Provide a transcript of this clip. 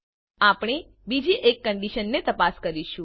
આપણે બીજી એક કંડીશનને તપાસ કરીશું